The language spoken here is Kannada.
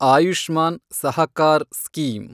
ಆಯುಷ್ಮಾನ್ ಸಹಕಾರ್ ಸ್ಕೀಮ್